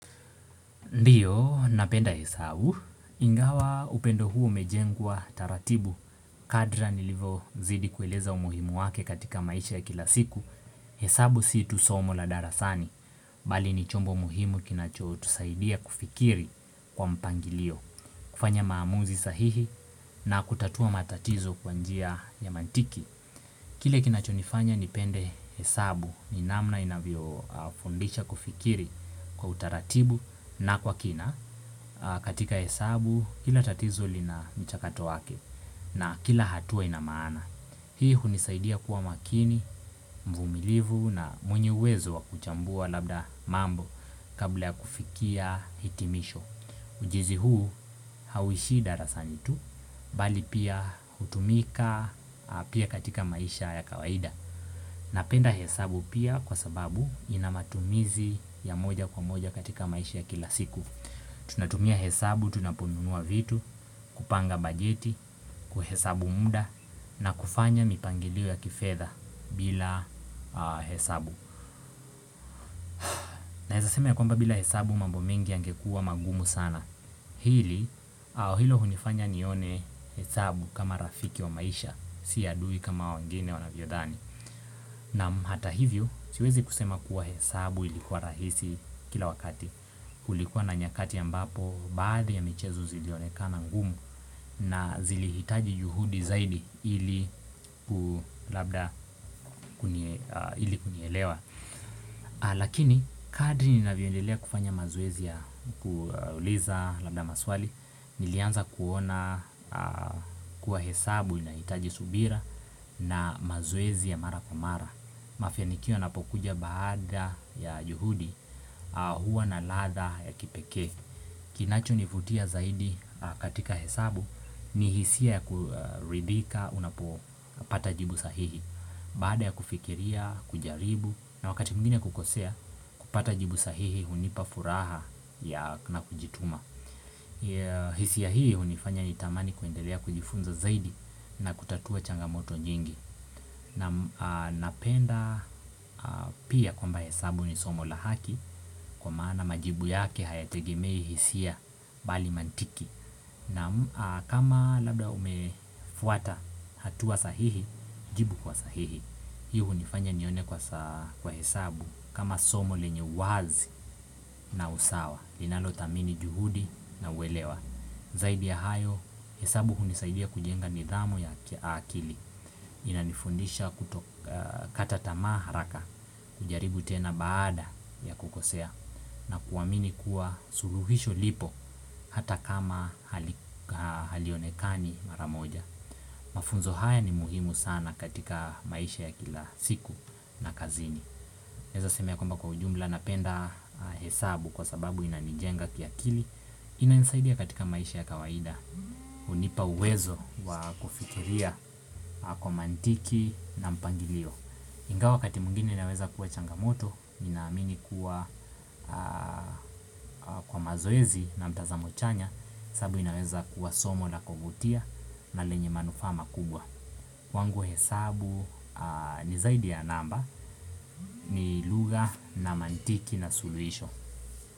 Ndiyo, napenda hesabu. Ingawa upendo huo umejengwa taratibu kadri nilivozidi kueleza umuhimu wake katika maisha ya kila siku. Hesabu si tu somo la darasani, bali ni chombo muhimu kinachotusaidia kufikiri kwa mpangilio, kufanya maamuzi sahihi na kutatua matatizo kwa njia ya mantiki. Kile kinachonifanya nipende hesabu ni namna inavyofundisha kufikiri kwa utaratibu na kwa kina katika hesabu kila tatizo lina mchakato wake na kila hatua ina maana. Hii hunisaidia kuwa makini, mvumilivu na mwenye uwezo wa kuchambua labda mambo kabla ya kufikia hitimisho. Ujenzi huu hauishii darasani tu bali pia hutumika pia katika maisha ya kawaida. Napenda hesabu pia kwa sababu ina matumizi ya moja kwa moja katika maisha ya kila siku. Tunatumia hesabu, tunaponunua vitu, kupanga bajeti, kuhesabu muda na kufanya mipangilio ya kifedha bila hesabu. Naeza sema ya kwamba bila hesabu mambo mengi yangekuwa magumu sana. Hili au hilo hunifanya nione hesabu kama rafiki wa maisha sio adui kama wengine wanavyodhani. Naam hata hivyo siwezi kusema kuwa hesabu ilikuwa rahisi kila wakati. Kulikuwa na nyakati ambapo baadhi ya michezo zilionekana ngumu. Na zilihitaji juhudi zaidi ili labda ili kunielewa. Lakini kadri ninavyoendelea kufanya mazeoezi ya kuuliza labda maswali nilianza kuona kuwa hesabu inahitaji subira na mazoezi ya mara kwa mara. Mafanikio yanapokuja baada ya juhudi huwa na ladha ya kipekee. Kinachonivutia zaidi katika hesabu ni hisia ya kuridhika unapopata jibu sahihi. Baada ya kufikiria, kujaribu na wakati mwingine kukosea kupata jibu sahihi hunipa furaha na kujituma. Hisia hii hunifanya nitamani kwendelea kujifunza zaidi na kutatua changamoto nyingi. Naam. Napenda pia kwamba hesabu ni somo la haki kwa maana majibu yake hayategemei hisia bali mantiki. Naam. Kama labda umefuata hatua sahihi jibu kwa sahihi. Hii hunifanya nione kwa hesabu kama somo lenye uwazi na usawa. Iinalothamini juhudi na uwelewa. Zaidi ya hayo hesabu hunisaidia kujenga nidhamu ya kiakili. Inanifundisha kuto kata tamaa haraka kujaribu tena baada ya kukosea na kuamini kuwa suluhisho lipo hata kama halionekani mara moja. Mafunzo haya ni muhimu sana katika maisha ya kila siku na kazini. Naeza seme ya kumba kwa ujumla napenda hesabu kwa sababu inanijenga kiakili. Inanisaidia katika maisha ya kawaida hunipa uwezo wa kufikiria kwa mantiki na mpangilio. Ingawa wakati mwingine inaweza kuwa changamoto ninaamini kuwa kwa mazoezi na mtazamo chanya hesabu inaweza kuwa somo na kuvutia na lenye manufaa makubwa. Kwangu hesabu ni zaidi ya namba ni lugha na mantiki na suluhisho.